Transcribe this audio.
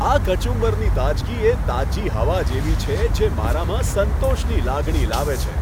આ કચુંબરની તાજગી એ તાજી હવા જેવી છે, જે મારામાં સંતોષની લાગણી લાવે છે.